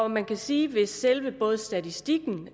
man kan sige at hvis selve statistikken